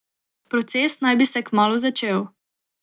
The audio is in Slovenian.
Proces naj bi se kmalu začel.